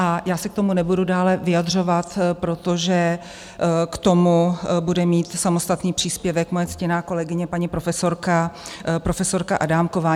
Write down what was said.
A já se k tomu nebudu dále vyjadřovat, protože k tomu bude mít samostatný příspěvek moje ctěná kolegyně paní profesorka Adámková.